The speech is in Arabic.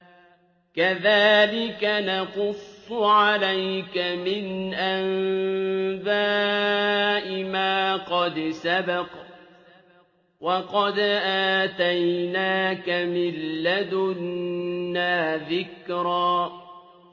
كَذَٰلِكَ نَقُصُّ عَلَيْكَ مِنْ أَنبَاءِ مَا قَدْ سَبَقَ ۚ وَقَدْ آتَيْنَاكَ مِن لَّدُنَّا ذِكْرًا